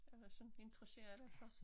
Eller sådan interesserer dig for